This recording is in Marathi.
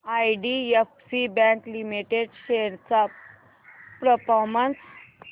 आयडीएफसी बँक लिमिटेड शेअर्स चा परफॉर्मन्स